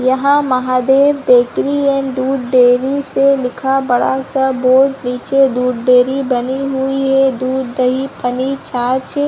यहाँ Mahadev bakery and ढूढ dairy से लिखा बड़ा सा बोर्ड पीछे दूध डेरी बनी हुई है दूध दही पनीर छाछ-- --